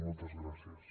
moltes gràcies